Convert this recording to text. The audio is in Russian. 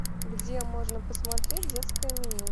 где можно посмотреть детское меню